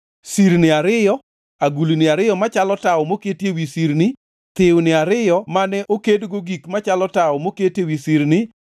Sirni ariyo, agulni ariyo machalo tawo moketi ewi sirni; thiwni ariyo mane okedgo gik machalo tawo moketi ewi sirni;